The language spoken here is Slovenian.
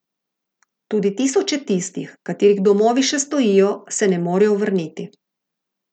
Tudi tisoče tistih, katerih domovi še stojijo, se ne morejo vrniti.